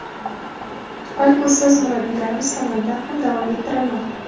balki ustoz-murabbiylarimiz tomonidan ham davom ettirilmoqda.